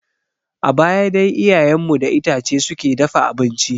A baya dai iyayen mu da itace suke dafa abinci.